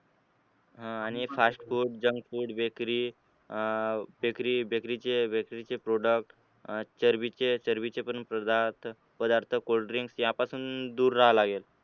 हा आणि fast food, junk food, bakery अह bakery चे bakery चे product चरबीचे, चरबीचेपण पदार्थ पदार्थ cold drinks यापासून दूर राहावं लागेल.